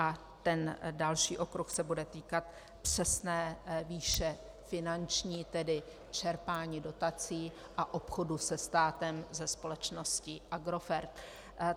A ten další okruh se bude týkat přesné výše finanční, tedy čerpání dotací a obchodu se státem, se společností Agrofert.